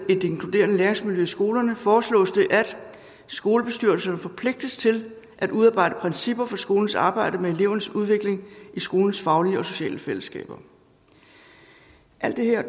et inkluderende læringsmiljø i skolerne foreslås det at skolebestyrelserne forpligtes til at udarbejde principper for skolens arbejde med elevernes udvikling i skolens faglige og sociale fællesskaber alt det her